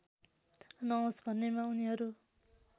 नहोस् भन्नेमा उनीहरू